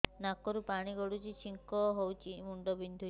ନାକରୁ ପାଣି ଗଡୁଛି ଛିଙ୍କ ହଉଚି ମୁଣ୍ଡ ବିନ୍ଧୁଛି